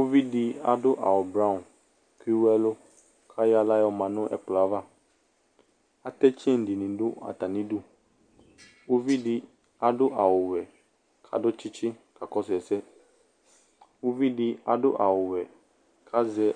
uvidi adu awu blɔ ke ewɛlu ayɔ axla ma nu ɛkplɛava atitse ɛdini nu atamidu uvidi adu awu xɛ ka du tchitchi ka kɔsu ɛsɛ uvidi adu awu xɛ ka zɛ